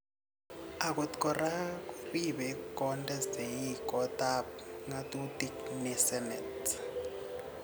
Akot kora koribe konde sei kotab ngatutik ne senet